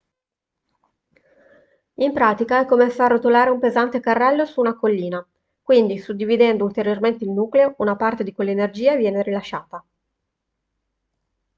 in pratica è come far rotolare un pesante carrello su una collina quindi suddividendo ulteriormente il nucleo una parte di quell'energia viene rilasciata